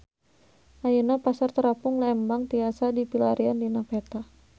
Ayeuna Pasar Terapung Lembang tiasa dipilarian dina peta